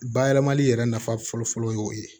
Bayɛlɛmali yɛrɛ nafa fɔlɔfɔlɔ ye o ye